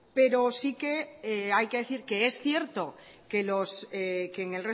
pero sí que hay que decir que es cierto que en